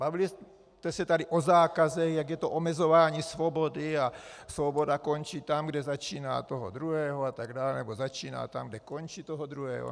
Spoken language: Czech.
Bavili jste se tady o zákazech, jaké je to omezování svobody, a svoboda končí tam, kde začíná toho druhého atd., nebo začíná tam, kde končí toho druhého.